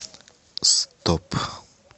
стоп